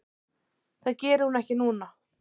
Það geri hún ekki núna.